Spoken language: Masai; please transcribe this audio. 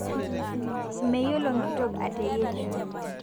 Meyiolo nkitok atayerisho